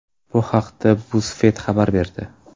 Bu haqda BuzzFeed xabar berdi .